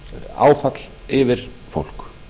áfall yfir fólk